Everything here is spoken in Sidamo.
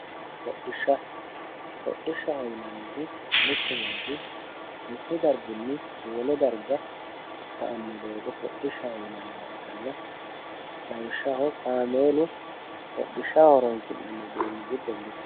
Hodhishsha, hodhishshaho yineemmohu mittu manchi mittu darginni wole darga sa'anno doogo hodhishshaho yinanniha ikkanna, lawishshaho kaameelu horonsi'nanni uduunni giddo mittoho.